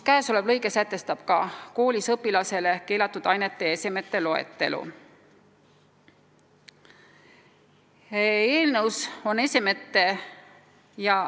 Kõnealune lõige sätestab koolis õpilasele keelatud ainete ja esemete loetelu.